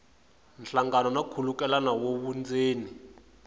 nhlangano na nkhulukelano wa vundzeni